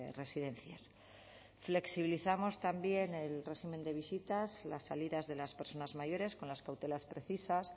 residencias flexibilizamos también el régimen de visitas las salidas de las personas mayores con las cautelas precisas